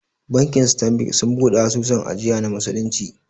Bankin Stanbic sun buɗe asusun ajiya na musulunci